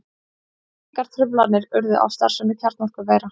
Engar truflanir urðu á starfsemi kjarnorkuvera